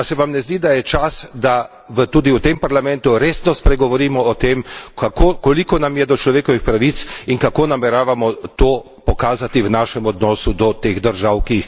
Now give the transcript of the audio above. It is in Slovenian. A se vam ne zdi, da je čas, da tudi v tem parlamentu resno spregovorimo o tem, koliko nam je do človekovih pravic in kako nameravamo to pokazati v našem odnosu do teh držav, ki jih kršijo?